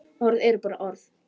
Orð eru bara orð.